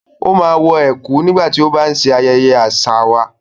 Ó máa wọ ẹ̀kú/àgọ̀ nígbà tó bá ń ṣe ayẹyẹ àṣà wà.